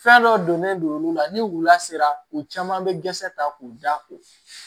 Fɛn dɔ donnen don olu la ni wula sera u caman bɛ dɛsɛ ta k'u da ko